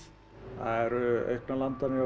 það eru auknar landanir hjá